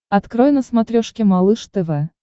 открой на смотрешке малыш тв